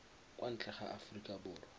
kwa ntle ga aforika borwa